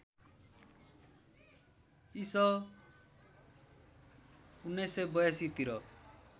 इसं १९८२ तिर